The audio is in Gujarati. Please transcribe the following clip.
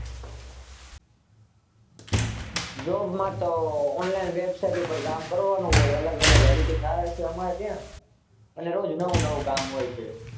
Job માં તો Online website ઉપર કામ કરવાનું હોય, અલગ અલગ Editing આવે છે, અમારે ત્યાં અને રોજ નવું નવું કામ હોય છે.